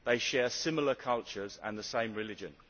They share similar cultures and the same religion.